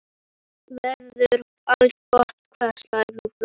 Veður allgott allhvass suðaustan lítil úrkoma og fremur milt.